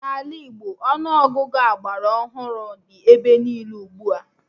N'ala Igbo, Ọnụ Ọgụgụ agbara ọhụrụ dị ebe niile ugbua